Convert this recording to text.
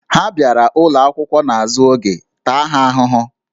Ha bịara akwụkwọ n'azụ oge, taa ha ahụhụ!